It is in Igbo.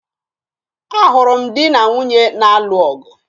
Ahụrụ m di na nwunye na-alụ ọgụ